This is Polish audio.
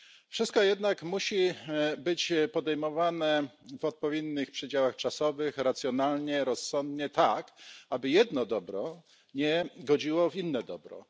Wszystko jednak musi być podejmowane w odpowiednich przedziałach czasowych, racjonalnie, rozsądnie, tak aby jedno dobro nie godziło w inne dobro.